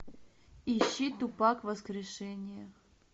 ищи тупак воскрешение